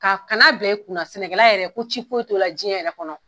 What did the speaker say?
Ka kana bila i kun na, sɛnɛkɛla yɛrɛ ko ci foyi t'o la diɲɛ yɛrɛ kɔnɔ